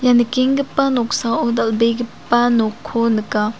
ia nikenggipa noksao dal·begipa nokko nika.